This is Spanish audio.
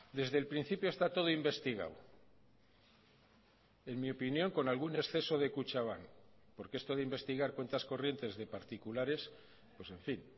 desde el principio está todo investigado en mi opinión con algún exceso de kutxabank porque esto de investigar cuentas corrientes de particulares pues en fin